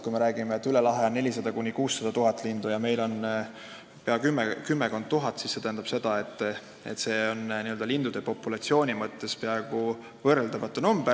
Kui me räägime, et üle lahe lastakse 400 000 – 600 000 lindu ja meil kümmekond tuhat, siis see on lindude populatsiooni mõttes peaaegu võrreldamatu.